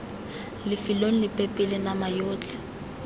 lefelong lepe pele nama yotlhe